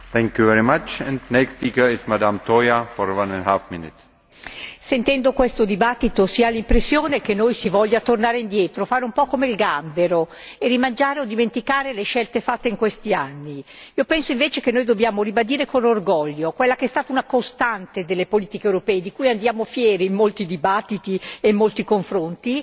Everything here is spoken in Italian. Signor Presidente, onorevoli colleghi, sentendo questo dibattito si ha l'impressione che si voglia tornare indietro, fare un po' come il gambero e rimangiare o dimenticare le scelte fatte in questi anni. Io penso invece che noi dobbiamo ribadire con orgoglio quella che è stata una costante delle politiche europee, di cui andiamo fieri, in molti dibattiti e molti confronti